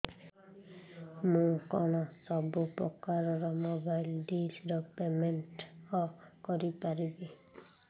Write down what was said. ମୁ କଣ ସବୁ ପ୍ରକାର ର ମୋବାଇଲ୍ ଡିସ୍ ର ପେମେଣ୍ଟ କରି ପାରିବି